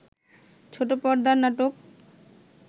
ছোট পর্দার নাটক